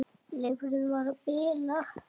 Lifrin var að bila.